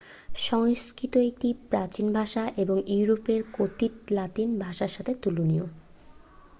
সংস্কৃত একটি প্রাচীন ভাষা এবং ইউরোপে কথিত লাতিন ভাষার সাথে তুলনীয়